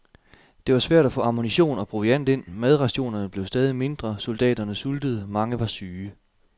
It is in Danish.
Det var svært at få ammunition og proviant ind, madrationerne blev stadig mindre, soldaterne sultede, mange var syge.